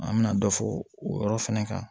An bɛna dɔ fo o yɔrɔ fana kan